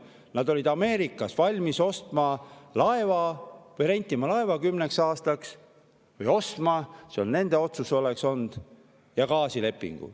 Nad olid valmis ostma Ameerikast laeva – kas ostma või 10 aastaks rentima, see oleks olnud nende otsus – ja tegema gaasilepingu.